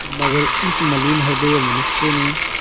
मगर इस मलिन हृदय मनुष्य ने